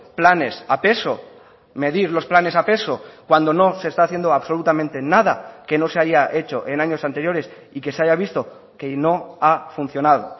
planes a peso medir los planes a peso cuando no se está haciendo absolutamente nada que no se haya hecho en años anteriores y que se haya visto que no ha funcionado